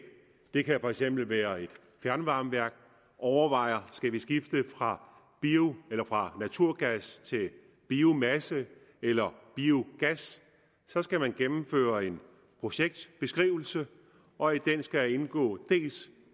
det kan for eksempel være et fjernvarmeværk overvejer om skal skifte fra fra naturgas til biomasse eller biogas så skal det gennemføre en projektbeskrivelse og i den skal indgå dels